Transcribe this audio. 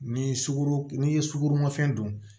N'i ye sugoro n'i ye sukoromafɛn dun